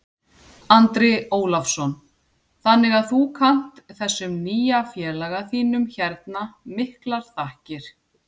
Andri Ólafsson: Þannig að þú kannt þessum nýja félaga þínum hérna miklar þakkir?